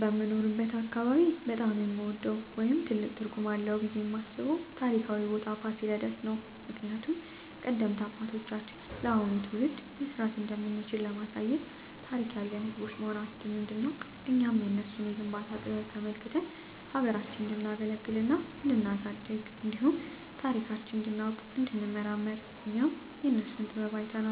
በምኖርበት አካባቢ በጣም የምወደው ወይም ትልቅ ትርጉም አለዉ ብየ የማስበው ታሪካዊ ቦታ ፋሲለደስ ነው። ምክንያቱም ቀደምት አባቶቻችን ለአሁኑ ትውልድ መስራት እንደምንችል ለማሳየት ታሪክ ያለን ህዝቦች መሆናችንን እንዲናውቅና እኛም የነሱን የግንባታ ጥበብ ተመልክተን ሀገራችንን እንዲናገለግልና እንዲናሳድግ እንዲሁም ታሪካችንን እንዲናውቅ እንዲንመራመር እኛም የነሱን ጥበብ አይተን